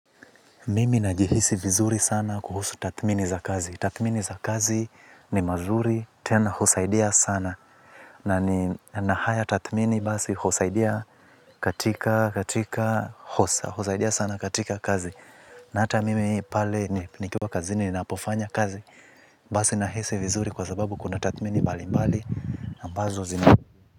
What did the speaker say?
Mimi najihisi vizuri sana kuhusu tathmini za kazi. Tathmini za kazi ni mazuri tena husaidia sana. Na ni nahaya tathmini basi kusaidia katika kazi. Na hata mimi pale nikiwa kazini ninapofanya kazi. Basi nahisi vizuri kwa sababu kuna tathmini mbali mbali. Ambazo zina.